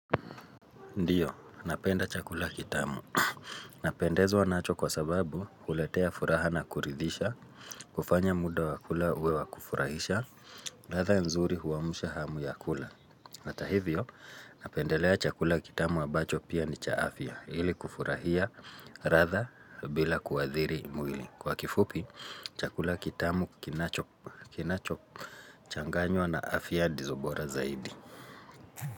Ndiyo, napenda chakula kitamu. Napendezwa nacho kwa sababu huletea furaha na kuridhisha, kufanya muda wakula uwe wakufurahisha, radha nzuri huamsha hamu ya kula. Hata hivyo, napendelea chakula kitamu ambacho pia ni cha afya, ili kufurahia radha bila kuadhiri mwili. Kwa kifupi, chakula kitamu kinacho changanywa na afya ndizo bora zaidi.